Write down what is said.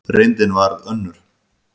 Reyndin varð önnur.